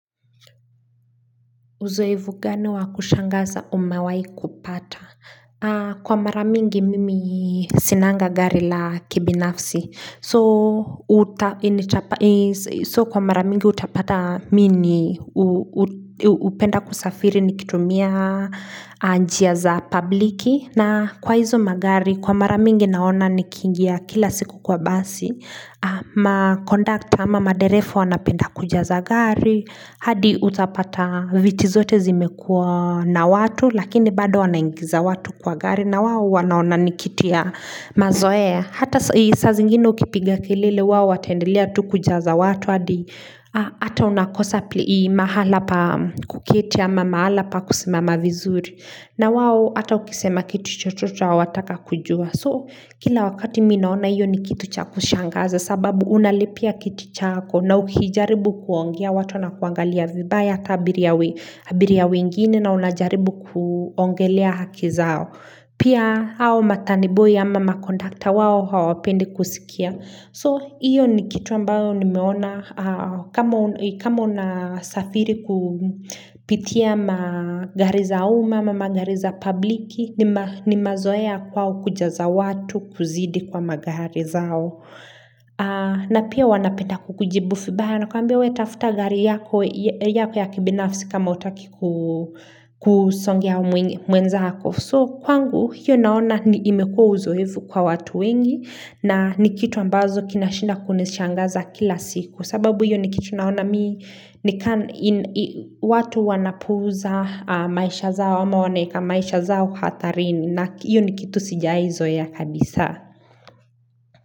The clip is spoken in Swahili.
Uzoefu gani wa kushangaza umawahi kupata? Kwa maramingi mimi sinanga gari la kibinafsi. So kwa mara mingi utapata mimi hupenda kusafiri nikitumia njia za pabliki. Na kwa hizo magari kwa mara mingi naona nikiingia kila siku kwa basi. Ma kondakta ama madereva wanapenda kujaza gari. Hadi utapata viti zote zimekua na watu Lakini bado wanaingiza watu kwa gari na wao wanaona ni kitu ya mazoea Hata saa zingine ukipiga kelele wao wataendelea tu kujaza watu hadi Hata unakosa mahala pa kuketi ama mahala pa kusimama vizuri na wao ata ukisema kitu chochote hawatataka kujua So kila wakati mimi naona hiyo ni kitu cha kushangaza sababu unalipia kiti chako na ukijaribu kuongea watu wanakuangalia vibaya hata abiria wengine na unajaribu kuongelea haki zao pia hao matani boy ama makondakta wao hawapendi kusikia so iyo ni kitu ambayo nimeona kama una safiri kupitia magari za uma ama magari za pabliki ni mazoea kwao kujaza watu kuzidi kwa magari zao na pia wanapenda kukujibu vibaya wanakwambia we tafuta gari yako ya kibinafsi kama hutaki kusongea mwenzako So kwangu hiyo naona imekua uzoefu kwa watu wengi na ni kitu ambazo kinashinda kunishangaza kila siku sababu hiyo ni kitu naona mimi nikaa watu wanapuuza maisha zao ama wanaweka maisha zao kwa hatarini na hiyo ni kitu sijawahi zoea kabisa.